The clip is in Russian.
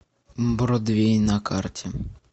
бродвей на карте